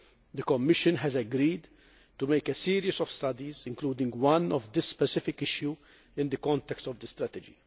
The Commission has agreed to make a series of studies, including one on this specific issue in the context of the strategy.